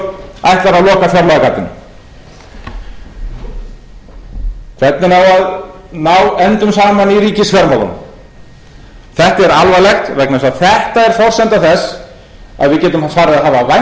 loka fjárlagagatinu hvernig á að ná endum saman í ríkisfjármálunum þetta er alvarlegt vegna þess að þetta er forsenda þess að við getum farið að hafa